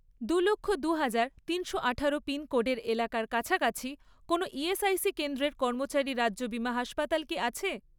দু লক্ষ, দুহাজার , তিনশো আঠারো পিনকোডের এলাকার কাছাকাছি কোনও ইএসআইসি কেন্দ্রের কর্মচারী রাজ্য বিমা হাসপাতাল কি আছে?